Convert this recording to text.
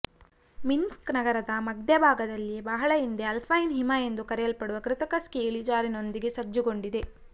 Minsk ನಗರದ ಮಧ್ಯಭಾಗದಲ್ಲಿಯೇ ಬಹಳ ಹಿಂದೆ ಅಲ್ಪೈನ್ ಹಿಮ ಎಂದು ಕರೆಯಲ್ಪಡುವ ಕೃತಕ ಸ್ಕೀ ಇಳಿಜಾರಿನೊಂದಿಗೆ ಸಜ್ಜುಗೊಂಡಿದೆ